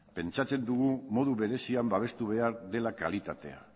pentsatzen dugu modu berezian babestu behar dela kalitatea